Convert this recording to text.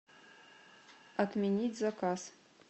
отменить заказ